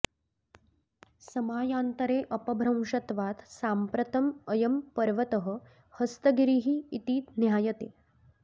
समयान्तरे अपभ्रंशत्वात् साम्प्रतम् अयं पर्वतः हस्तगिरिः इति ज्ञायते